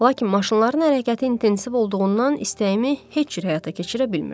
Lakin maşınların hərəkəti intensiv olduğundan istəyimi heç cür həyata keçirə bilmirdim.